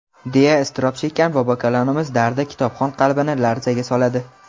deya iztirob chekkan ‎bobokalonimiz dardi kitobxon qalbini larzaga soladi.